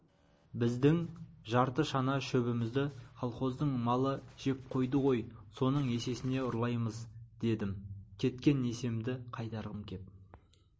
біздің жарты шана шөбімізді колхоздың малы жеп қойды ғой соның есесіне ұрлаймыз дедім кеткен есемді қайтарғым кеп